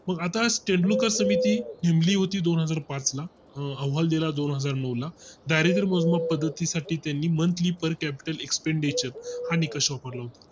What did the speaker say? मग आता state bank समिती नेमली होती दोनहजार पाच ला अहवाल दिला दोनहजार नऊ ला दारिद्र मोजमाप पद्धती साठी त्यांनी Monthly Per Capital Expenditure हा निकष वापरला होता